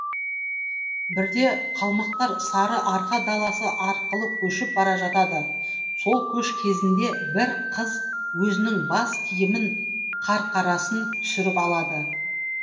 бірде қалмақтар сарыарқа даласы арқылы көшіп бара жатады сол көш кезінде бір қыз өзінің бас киімін қарқарасын түсіріп алады